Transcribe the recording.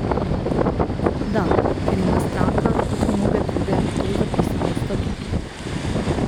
Da, ker ima stranka, kot mnoge druge, to zapisano v statutu.